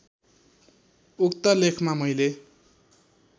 उक्त लेखमा मैले